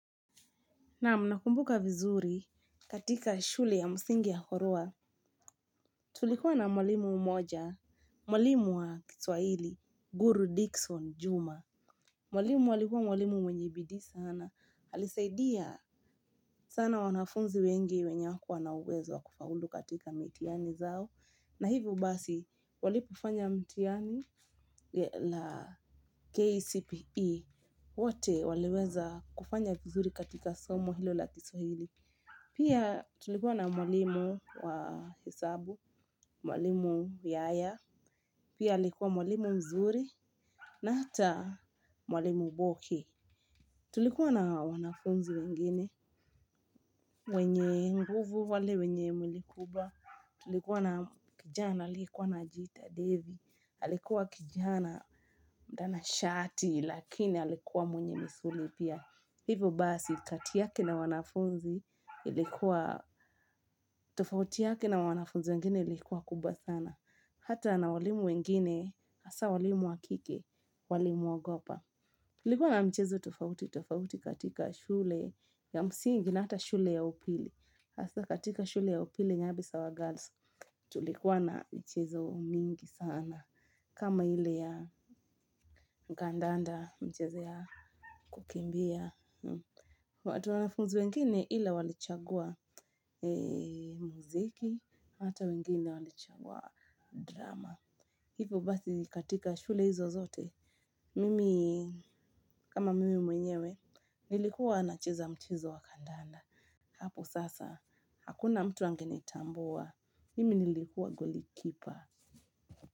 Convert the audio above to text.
Naam nakumbuka vizuri katika shule ya msingi ya horoa, tulikuwa na mwalimu mmoja, mwalimu wa kiswahili, guru Dickson Juma. Mwalimu alikuwa mwalimu mwenye bidii saana. Alisaidia sana wanafunzi wengi wenye hawakuwa na uwezo kufaulu katika mitihani zao. Na hivyo basi, walipofanya mitiani la KCPE, wote waliweza kufanya vizuri katika somo hilo la kiswahili. Pia tulikua na mwalimu wa hesabu mwalimu yaya pia alikua mwalimu mzuri na hata mwalimu boke tulikua na wanafunzi wengine wenye nguvu wale wenye mwili kubwa tulikuwa na kijana aliyekuwa anajiita david alikuwa kijana, mtanashati, lakini alikuwa mwenye misuli pia. Hivyo basi kati yake na wanafunzi ilikuwa, tofauti yake na wanafunzi wengine ilikuwa kubwa sana. Hata na walimu wengine, hasa walimu wa kike, walimuogopa. Kulikuwa na michezo tofauti, tofauti katika shule ya msingi, na hata shule ya upili. Hasa katika shule ya upili nyabisawa girls tulikuwa na michezo mingi sana. Kama ile ya kandanda michezo ya kukimbia watu wanafunzi wengine ila walichagua muziki hata wengine walichagua drama hivo basi katika shule hizo zote, mimi kama mimi mwenyewe, nilikuwa nacheza mchezo wa kadanda. Hapo sasa, hakuna mtu angenitambua, mimi nilikuwa goli kipa.